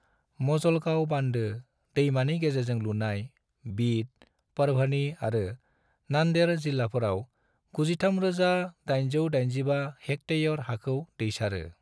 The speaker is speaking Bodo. मजलगांव बान्दो, दैमानि गेजेरजों लुनाय, बीड, परभणी आरो नांदेड़ जिलाफोराव 93,885 हेक्टेयर हाखौ दैसारो।